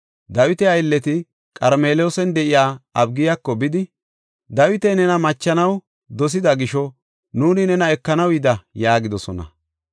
Dawita aylleti Qarmeloosan de7iya Abigiyako bidi, “Dawiti nena machanaw dosida gisho nuuni nena ekanaw yida” yaagidosona.